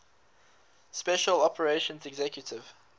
special operations executive